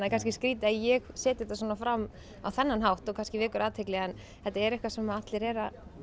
kannski skrýtið að ég setji þetta svona fram á þennan hátt og kannski vekur athygli en þetta er eitthvað sem allir eru